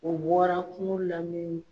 O bɔra kungo la